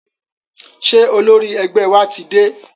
Ṣé olórí ẹgbẹ́ wa ti dé?